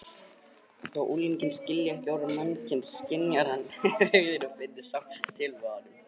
Þó unginn skilji ekki orð mannsins skynjar hann hryggðina og finnur sárt til með honum.